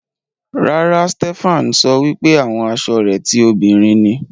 Rárá, Stephan sọ wípé àwọn asọ rẹ ti òbinrín ni.